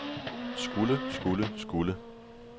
skulle skulle skulle